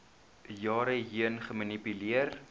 jare heen gemanipuleer